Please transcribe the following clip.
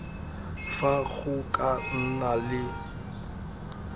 fa go ka nna le